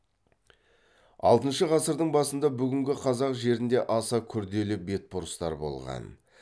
алтыншы ғасырдың басында бүгінгі қазақ жерінде аса күрделі бетбұрыстар болған